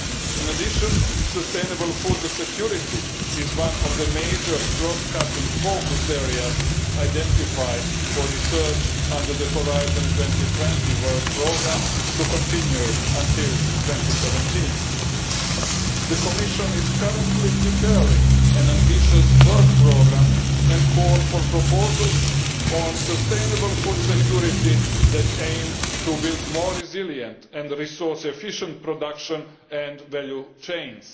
In addition, sustainable food security is one of the major cross cutting focus areas identified for research under the Horizon 2020 Work Programme to continue until 2017. The Commission is currently preparing an ambitious work programme and call for proposals on sustainable food security that aim to build more resilient and resource efficient production and value chains.